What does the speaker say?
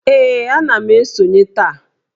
Ee, ana m esonye taa